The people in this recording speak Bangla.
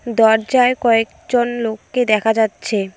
দরজায় কয়েকজন লোককে দেখা যাচ্ছে।